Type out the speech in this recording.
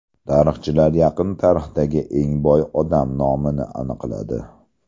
Tarixchilar yaqin tarixdagi eng boy odam nomini aniqladi.